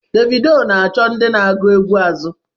Davido na-achọ ndị na-agụ egwú azụ.